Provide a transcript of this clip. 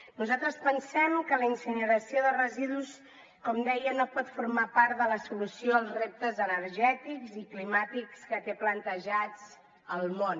nosaltres pensem que la incineració de residus com deia no pot formar part de la solució als reptes energètics i climàtics que té plantejats el món